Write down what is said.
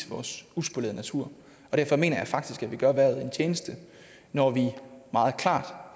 vores uspolerede natur derfor mener jeg faktisk at vi gør erhvervet en tjeneste når vi meget klart